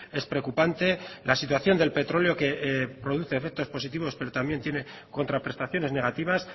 es preocupante la situación del petróleo que produce efectos positivos pero también tiene contraprestaciones negativas